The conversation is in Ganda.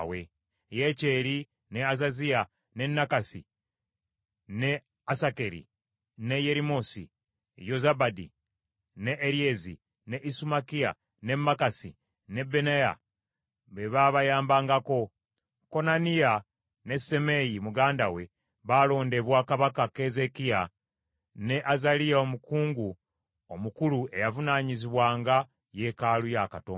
Yekyeri, ne Azaziya, ne Nakasi, ne Asakeri, ne Yerimosi, Yozabadi, ne Eryeri, ne Isumakiya, ne Makasi ne Benaya be baabayambangako. Konaniya ne Simeeyi muganda we, baalondebwa Kabaka Keezeekiya ne Azaliya omukungu omukulu eyavunaanyizibwanga yeekaalu ya Katonda.